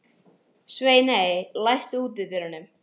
Sveiney, læstu útidyrunum.